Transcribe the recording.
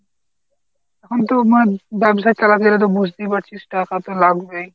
এখন তোমার ব্যবসায় তো বুঝতেই পারছিস টাকা তো লাগবেই।